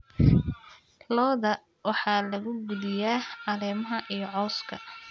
Lo'da waxaa lagu quudiyaa caleemaha iyo cawska.